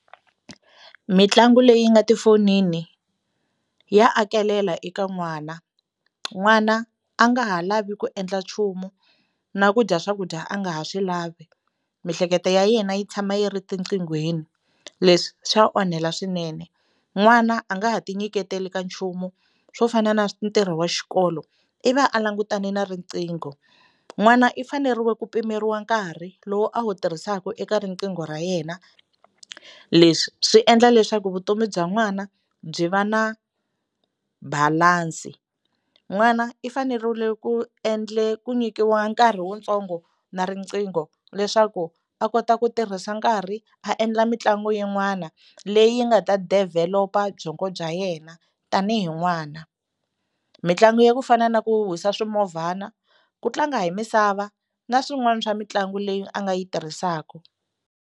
Mitlangu leyi nga tifonini ya akelela eka n'wana, n'wana a nga ha lavi ku endla nchumu na ku dya swakudya a nga ha swi lavi miehleketo ya yena yi tshama yi ri tiqhigweni leswi swa onhela swinene. N'wana a nga ha ti nyiketeli ka nchumu swo fana na ntirho wa xikolo i va a langutane na riqingho, n'wana i fanerile ku pimeriwa nkarhi lowu a wu tirhisaka eka riqingho ra yena leswi swi endla leswaku vutomi bya n'wana byi va na balansi. N'wana i fanerile ku ku nyikiwa nkarhi wutsongo na riqingho leswaku a kota ku tirhisa nkarhi a endla mitlangu yin'wana leyi nga ta develop-a byongo bya yena tanihi n'wana. Mitlangu ya ku fana na ku huhwisa swimovhana, ku tlanga hi misava na swin'wana swa mitlangu leyi a nga yi tirhisaka.